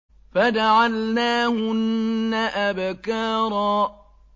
فَجَعَلْنَاهُنَّ أَبْكَارًا